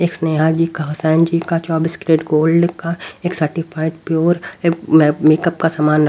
एक स्नेहा जी का हुसैन जी का चौबीस ग्रेड गोल्ड का एक सर्टिफाइड प्योर मेकअप का सामान--